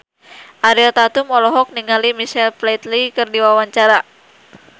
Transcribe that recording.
Ariel Tatum olohok ningali Michael Flatley keur diwawancara